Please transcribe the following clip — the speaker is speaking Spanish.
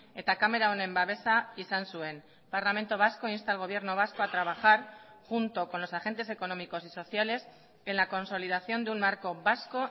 eta kamera honen babesa izan zuen parlamento vasco insta al gobierno vasco a trabajar junto con los agentes económicos y sociales en la consolidación de un marco vasco